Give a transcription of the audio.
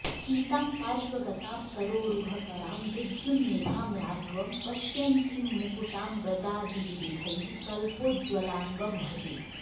सीतां पार्श्वगतां सरोरुहकरां विद्युन्निभां राघवम् पश्यन्तीं मुकुटां गदादि विविधैः कल्पोज्वलाङ्गं भजे